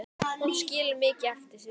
Hún skilur mikið eftir sig.